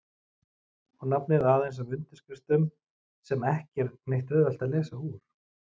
Og nafnið aðeins af undirskriftum sem ekki er neitt auðvelt að lesa úr.